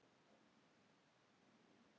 Góða nótt, elsku mamma mín.